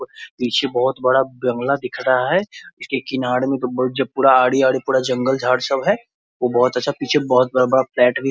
पीछे बहुत बड़ा बंगला दिख रहा है इसके किनार में बहुत पूरा आड़ी-आड़ी पूरा जंगल-झाड़ सब है वो बहुत अच्छा पीछे बहुत बड़ा -बड़ा पेड़ भी --